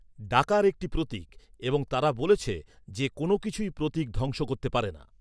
ডাকার একটি প্রতীক, এবং তারা বলেছে যে কোন কিছুই প্রতীক ধ্বংস করতে পারে না।